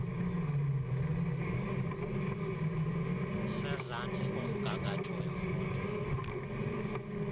sezantsi komgangatho wemfundo